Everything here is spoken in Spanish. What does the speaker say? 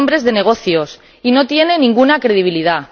Son hombres de negocios y no tienen ninguna credibilidad.